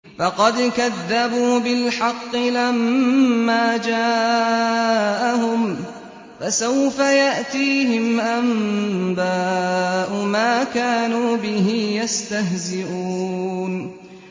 فَقَدْ كَذَّبُوا بِالْحَقِّ لَمَّا جَاءَهُمْ ۖ فَسَوْفَ يَأْتِيهِمْ أَنبَاءُ مَا كَانُوا بِهِ يَسْتَهْزِئُونَ